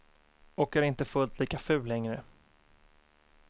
Och är inte fullt lika ful längre.